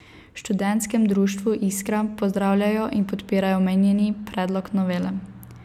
V Študentskem društvu Iskra pozdravljajo in podpirajo omenjeni predlog novele.